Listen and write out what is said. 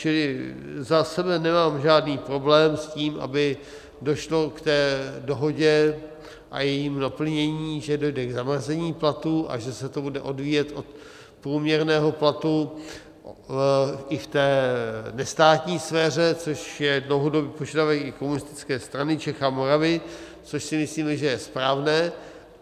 Čili za sebe nemám žádný problém s tím, aby došlo k té dohodě a jejímu naplnění, že dojde k zamrazení platů a že se to bude odvíjet od průměrného platu i v té nestátní sféře, což je dlouhodobý požadavek i Komunistické strany Čech a Moravy, což si myslíme, že je správné.